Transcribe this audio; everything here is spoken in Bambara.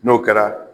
N'o kɛra